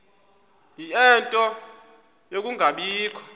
ie nto yokungabikho